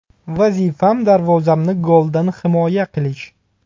Vazifam darvozamni goldan himoya qilish.